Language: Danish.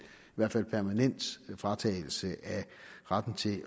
permanent fratagelse af retten til